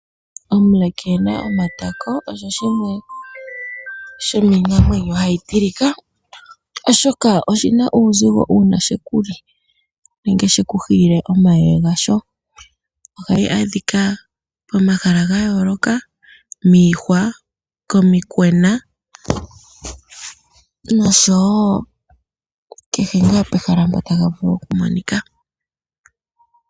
Omule keena omatako osho shimwe shomiinamwenyo hayi tilika, oshoka oshina uuzigo uuna shekuli nenge shekuhiile omayeye gasho. Ohayi adhika pomahala gayooloka miihwa, komikwena nosho wo, kehe ngaa pehala mpa tayi vulu okumonika.